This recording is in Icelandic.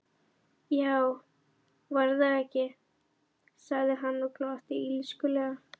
Já, var það ekki, sagði hann og glotti illskulega.